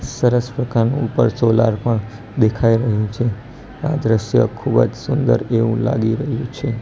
સરસ પ્રકારનું ઉપર સોલાર પણ દેખાય રહ્યુ છે આ દ્રશ્ય ખુબજ સુંદર એવુ લાગી રહ્યુ છે.